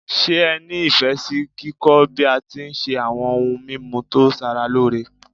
Se ẹ ni Ifẹ si kíkọ́ bi a ti n se awo̩n oun mimu to sara loore?